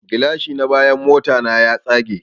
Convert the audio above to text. Gilashi na bayan motana ya tsage